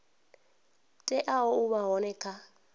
teaho u vha hone kha